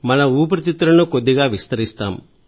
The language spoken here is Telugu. మన ఊపిరితిత్తులను కొద్దిగా విస్తరిస్తాం